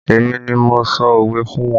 Èmi ni mo sọ òwe fún wọn